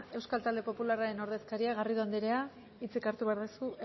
euskal talde popularraren ordezkaria garrido anderea hitzik hartu behar duzu